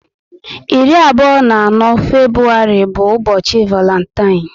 irí abụọ na anọ Febrụwarị bu ubochi Varantine